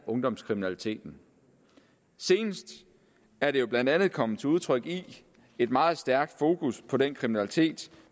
ungdomskriminaliteten senest er det jo blandt andet kommet til udtryk i et meget stærkt fokus på den kriminalitet